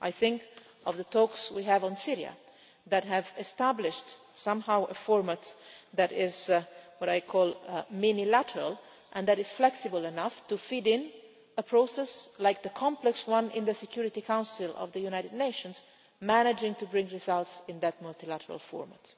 formats. I think of the talks we have on Syria that have somehow established a format that is what I call minilateral' and that is flexible enough to feed into a process like the complex one in the Security Council of the United Nations, managing to bring results in that multilateral